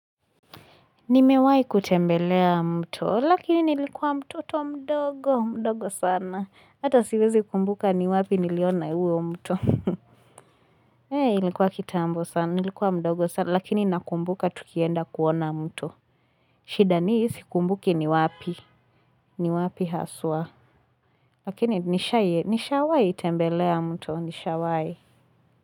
Nimewahi kutembelea muto, lakini nilikuwa mtoto mdogo, mdogo sana. Ata siwezi kumbuka ni wapi niliona huo mto. Ilikuwa kitambo sana, nilikuwa mdogo sana, lakini nakumbuka tukienda kuona mto. Shida ni sikumbuki ni wapi haswa. Lakini nishawahi tembelea mto.